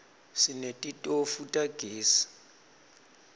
sinetitofu tagezi